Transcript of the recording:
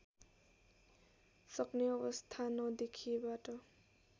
सक्ने अवस्था नदेखिएबाट